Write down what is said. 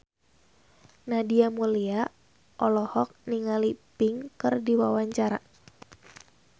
Nadia Mulya olohok ningali Pink keur diwawancara